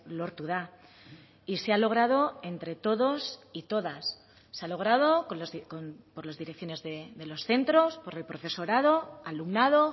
lortu da y se ha logrado entre todos y todas se ha logrado por las direcciones de los centros por el profesorado alumnado